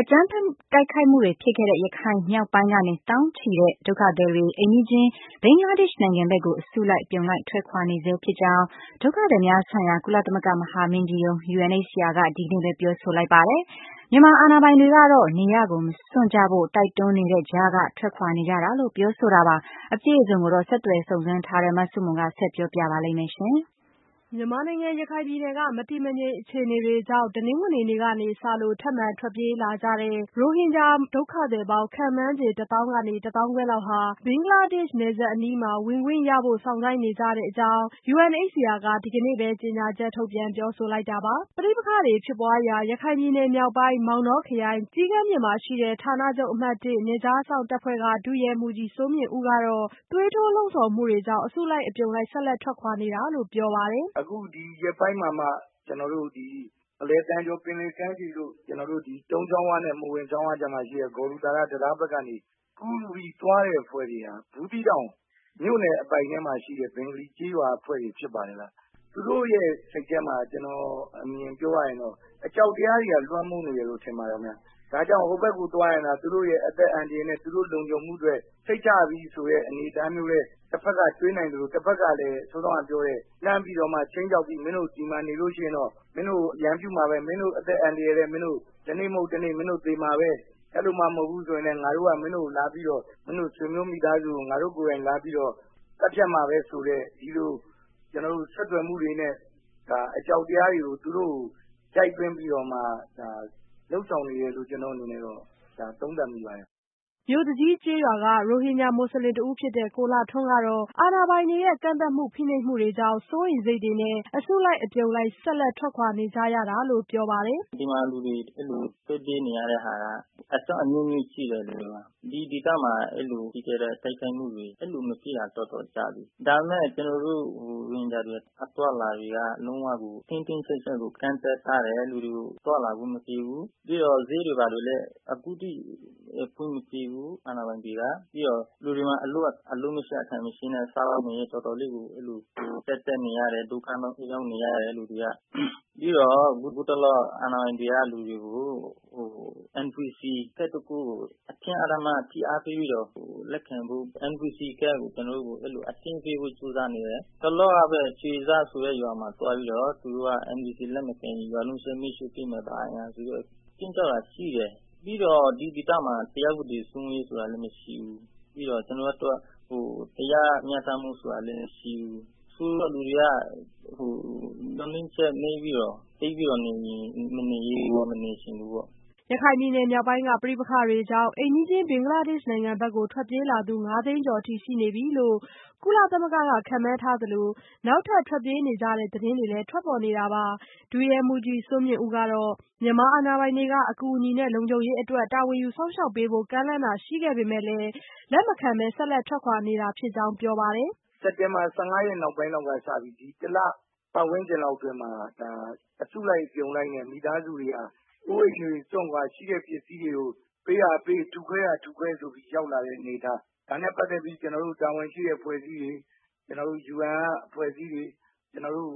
အကြမ်းဖက် တိုက်ခိုက်မှုတွေဖြစ်ခဲ့တဲ့ ရခိုင်မြောက်ပိုင်းကနေ သောင်းချီတဲ့ ဒုက္ခသည်တွေ အိမ်နီးချင်း ဘင်္ဂလားဒေ့ရှ်နိုင်ငံဘက်ကို အစုလိုက်အပြုံလိုက် ထွက်ခွာနေဆဲဖြစ်ကြောင်း ဒုက္ခသည်များဆိုင်ရာ ကုလသမဂ္ဂ မဟာမင်းကြီးရုံး UNHCR က ဒီကနေ့ပဲ ပြောဆိုလိုက်ပါတယ်။ မြန်မာအာဏာပိုင်တွေကတော့ နေရပ်ကိုမစွန့်ကြဖို့ တိုက်တွန်းနေတဲ့ကြားက ထွက်ခွာနေကြတာလို့ ပြောဆိုခဲ့တာပါ။ အပြည့်အစုံကိုတော့ ဆက်သွယ်စုံစမ်းထားတဲ့ မဆုမွန် က ဆက်ပြောပြပါမယ်။ မြန်မာနိုင်ငံ ရခိုင်ပြည်နယ်က မတည်မငြိမ် အခြေအနေတွေကြောင့် တနင်္ဂနွေနေ့ကစလို့ ထပ်မံထွက်ပြေးလာကြတဲ့ ရိုဟင်ဂျာ ဒုက္ခသည်ပေါင်း ခန့်မှန်းခြေ ၁ သောင်းကနေ တသောင်းခွဲလောက်ဟာ ဘင်္ဂလားဒေ့ရှ် နယ်စပ်အနီးမှာ ဝင်ခွင့်ရဖို့ စောင့်ဆိုင်းနေကြတဲ့အကြောင်း UNHCR က ဒီကနေ့ပဲ ကြေညာချက်ထုတ်ပြန် ပြောဆိုလိုက်တာပါ။ ပဋိပက္ခတွေဖြစ်ပွားရာ ရခိုင်ပြည်နယ်မြောက်ပိုင်း မောင်တောခရိုင် ကျီးကန်းပြင်မှာရှိတဲ့ ဌာနချုပ် အမှတ် နယ်ခြားစောင့်တပ်ဖွဲ့က ဒုရဲမှူးကြီးစိုးမြင့်ဦး ကတော့ သွေးထိုးလှုံ့ဆော်မှုတွေကြောင့် အစုလိုက်အပြုံလိုက် ဆက်လက် ထွက်ခွာနေတာလို့ ပြောပါတယ်။ “အခုဒီရက်ပိုင်းမှာမှ ကျနော်တို့ ဒီ အလယ်သံကျော် ပင်လယ်ကမ်းခြေတို့ ကျနော်တို့ဒီ တုန်းကျောင်းဝနဲ့ မော်ဝင်ကျောင်းဝကြားမှာရှိတဲ့ ဂေါဒူသာရ တံတားဘက်ကနေ ကူးလူးပြီးသွားတဲ့ အဖွဲ့တွေဟာ ဘူးသီးတောင်မြို့နယ်အပိုင်ထဲမှာရှိတဲ့ ဘင်္ဂလီကျေးရွာအဖွဲ့တွေဖြစ်ပါတယ်။ သူတို့စိတ်ထဲမှာ ကျနော့်အမြင်ပြောရရင်တော့ အကြောက်တရားတွေက လွှမ်းမိုးနေတယ်လို့ ထင်ပါတယ်ခင်ဗျ။ ဒါကြောင့် ဟိုဘက်ကိုသွားရင်သာ သူတို့ရဲ့အသက်အန္တရာယ်နဲ့ သူတို့လုံခြုံမှုအတွက် စိတ်ချပြီဆိုတဲ့ အနေအထားမျိုးနဲ့ တဖက်ကတွေးနိုင်သလို တဖက်ကလည်း လှမ်းပြီးတော့မှ ခြိမ်းခြောက်ပြီး မင်းတို့ဒီမှာနေလို့ရှိရင်တော့ မင်းတို့ကိုရန်ပြုမှာပဲ မင်းတို့အသက်အန္တရာယ်လည်း မင်းတို့ တနေ့မဟုတ်တနေ့ မင်းတို့သေမှာပဲ အဲလိုမှ မဟုတ်ဘူးဆိုရင် ငါတို့က မင်းတို့ကိုလာပြီးတော့ မင်းတို့ဆွေမျိုးမိသားစုကို ငါတို့ကိုယ်တိုင်လာပြီး သတ်ဖြတ်မှာပဲဆိုတဲ့ ဒီလိုဆက်သွယ်မှုတွေနဲ့ အကြောက်တရားတွေကို ရိုက်သွင်းပြီးလုပ်ဆောင်နေတယ်လို့ ကျနော့်အနေနဲ့တော့ သုံးသပ်မိပါတယ်။” မြို့သူကြီးကျေးရွာက ရိုဟင်ဂျာ မူဆလင်တဦးဖြစ်တဲ့ ကိုလှထွန်း ကတော့ အာဏာပိုင်တွေရဲ့ ကန့်သတ်မှုတွေ၊ ဖိနှိပ်မှုတွေကြောင့် စိုးရိမ်စိတ်တွေနဲ့ အစုလိုက်အပြုံလိုက် ဆက်လက် ထွက်ခွာနေကြရတာလို့ ပြောပါတယ်။ “ဒီမှာလူတွေ အဲဒီလိုထွက်ပြေးနေရတာက အကြောင်းအမျိုးမျိုးရှိတယ်။ ဒီဒေသမှာ ပြီးခဲ့တဲ့ တိုက်ခိုက်မှုတွေ အဲလိုမရှိတာတော်တော်ကြာပြီ။ ဒါပေမယ့် ကျနော်တို့ ရိုဟင်ဂျာ တွေ အသွားအလာတွေက လုံးဝကို တင်းတင်းကျပ်ကျပ်ကို ကန့်သတ်ထားတယ် လူတွေကို သွားလာခွင့်မပြုဘူး။ ဈေးတွေဘာတွေလည်း အခုအထိ ဖွင့်မပေးဘူး အာဏာပိုင်တွေက။ လူတွေမှာ အလုပ်မရှိအကိုင်မရှိနဲ့ စားဝတ်နေရေး တော်တော်လေး အဲလို ကျပ်တည်းနေရတယ်၊ ဒုက္ခရောက်နေရတယ် လူတွေက ။ ပြီးတော့ ဟိုတလောက အာဏာပိုင်တွေက NVC ကဒ်တခုကို အတင်းအဓမ္မ ဖိအားပေးပြီးတော့ လက်ခံဖို့ NVC ကဒ်ကို ကျနော်တို့ကို အတင်းပေးဖို့ ကြိုးစားနေတယ်။ တလောကပဲ ရွှေစဆိုတဲ့ရွာမှာသွားပြီးတော့ NVC ကဒ်ကို လက်မခံရင် ရွာလုံးကျွတ် အားလုံး မီးရှို့မယ်ဆိုပြီးတော့ ခြိမ်းခြောက်တာရှိတယ်။ ပြီးတော့ ဒီဒေသမှာ တရားဥပဒေစိုးမိုးမှုဆိုတာကလည်း မရှိဘူး။ တရားမျှတမှုဆိုတာကလည်း မရှိဘူး။ ဆိုလိုတာက လူတွေက မျှော်လင့်ချက်နည်းပြီးတော့ သိပ်ပြီးတော့ ဒီမှာမနေချင်ဘူးပေါ့။” ရခိုင်ပြည်နယ် မြောက်ပိုင်းက ပဋိပက္ခမှုတွေကြောင့် အိမ်နီးချင်း ဘင်္ဂလားဒေ့ရှ် နိုင်ငံကို ထွက်ပြေးလာသူ ၅ သိန်းကျော် အထိ ရှိနေပြီလို့ ကုလသမဂ္ဂက ခန့်မှန်းထားသလို၊ နောက်ထပ် ထွက်ပြေးနေကြတဲ့ သတင်းတွေလည်း ထွက်ပေါ်နေတာပါ။ ဒုရဲမှူးကြီးစိုးမြင့်ဦး ကတော့ မြန်မာအာဏာပိုင်တွေက အကူအညီနဲ့ လုံခြုံရေးအတွက် တာဝန်ယူ စောင့်ရှောက်ပေးဖို့ ကမ်းလှမ်းတာတွေ ရှိပေမဲ့လည်း လက်မခံဘဲ ဆက်လက်ထွက်ခွာနေတာဖြစ်ကြောင်း ပြောပါတယ်။ “စက်တင်ဘာ ၁၅ ရက်နောက်ပိုင်းကစပြီး ဒီတလ ပတ်ဝန်းကျင်လောက်အတွင်းမှာ အစုလိုက်အပြုံလိုက်နဲ့ မိသားစုတွေဟာ အိုးအိမ်တွေစွန့်ခွာ၊ ရှိတဲ့ ပစ္စည်းတွေကို ပေးရာကပေး ထုခွဲတာက ထုခွဲဆိုပြီးရောက်လာတဲ့အနေအထား ဒါနဲ့ ပတ်သက်ပြီး ကျနော်တို့ တာဝန်ရှိတဲ့အဖွဲ့အစည်းတွေ ၊ ကျနော်တို့ UN က အဖွဲ့အစည်းတွေ ကျနော်တို့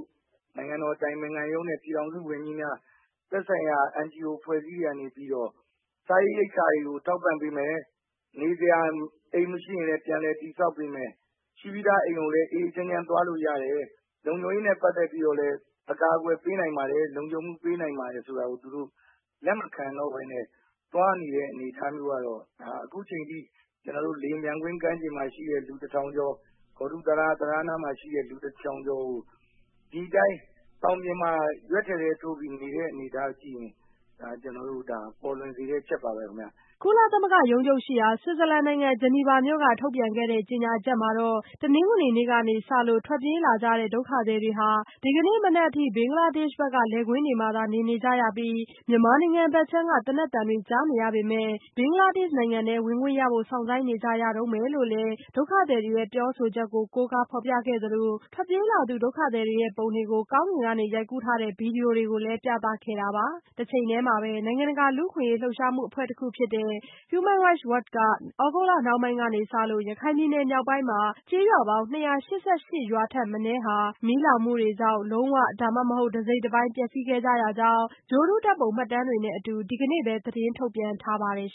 နိုင်ငံတော်အတိုင်ပင်ခံရုံးနဲ့ ပြည်ထောင်စုဝန်ကြီးများ သက်ဆိုင်ရာ NGO အဖွဲ့အစည်းတွေကနေပြီးတော့ စားနပ်ရိက္ခာတွေကိုထောက်ပံ့ပေးမယ် ၊ နေစရာအိမ်တွေ မရှိရင်လည်း ပြန်လည်တည်ဆာက်ပေးမယ်။ ရှိပြီးသားအိမ် ကိုလည်း ငြိမ်းငြိမ်းချမ်းချမ်းသွားလို့ရတယ်။ လုံခြုံရေးနဲ့ ပတ်သက်ပြီးတော့လည်း အကာအကွယ်ပေးနိုင်ပါတယ် လုံခြုံမှုပေးနိုင်ပါတယ်ဆိုတာကို သူတို့ လက်မခံနိုင်တော့ပဲနဲ့ သွားနေတဲ့အနေအထားမျိုးကတော့ အခုအချိန်အထိ ကျနော်တို့ လေယာဉ်ပျံကွင်းကမ်းခြေမှာရှိတဲ့ လူ ၁ထောင်ကျော် ၊ ဘောဒူတံတားနားမှာရှိတဲ့ လူ ၁ထောင်ကျော်ကို သောင်ပြင်မှာ ရွက်ဖျင်တဲထိုးပြီးနေတဲ့အနေအထားကြည့်မယ်ဆိုရင် ကျနော်တို့ ပေါ်လွင်စေတဲ့အချက်ပါပဲခင်ဗျ။” ကုလသမဂ္ဂ ရုံးချုပ်ရှိရာ ဆွစ်ဇာလန်နိုင်ငံ ဂျနီဗာမြို့က ထုတ်ပြန်ခဲ့တဲ့ ကြေညာချက်မှာတော့ တနင်္ဂနွေနေ့ကစလို့ ထွက်ပြေးလာကြတဲ့ ဒုက္ခသည်တွေဟာ ဒီကနေ့မနက်ထိ ဘင်္ဂလားဒေ့ရှ်ဘက်က လယ်ကွင်းတွေမှာသာ နေနေကြရပြီး၊ မြန်မာနိုင်ငံဘက်ခြမ်းက သေနတ်သံတွေ ကြားနေရပေမဲ့ ဘင်္ဂလားဒေ့ရှ် နိုင်ငံထဲ ဝင်ခွင့်ရဖို့ စောင့်ဆိုင်းနေကြရတုန်းပဲလို့လည်း ဒုက္ခသည်တွေရဲ့ ပြောဆိုချက်ကို ကိုးကားဖော်ပြခဲ့သလို၊ ထွက်ပြေးလာသူ ဒုက္ခသည်တွေရဲ့ ပုံတွေကို ကောင်းကင်ကနေ ရိုက်ကူးထားတဲ့ ဗွီဒီယိုတွေကိုလည်း ပြသခဲ့တာပါ။ တချိန်တည်းမှာပဲ နိုင်ငံတကာ လူ့အခွင့်အရေး လှုပ်ရှားမှုအဖွဲ့တခုဖြစ်တဲ့ Human Rights Watch က သြဂုတ်လနှောင်းပိုင်းကစလို့ ရခိုင်ပြည်နယ် မြောက်ပိုင်းမှာ ကျေးရွာပေါင်း ၂၈၈ ရွာထက်မနည်းဟာ မီးလောင်မှုတွေကြောင့် လုံးဝ၊ ဒါမှမဟုတ် တစိတ်တပိုင်း ပျက်စီးခဲ့ရကြောင်း ဂြိုဟ်တုဓာတ်ပုံ မှတ်တမ်းတွေနဲ့အတူ ဒီကနေ့ပဲ သတင်းထုတ်ပြန် ထားပါတယ်